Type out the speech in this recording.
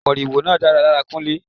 Moriwo náà dára lára Kunle.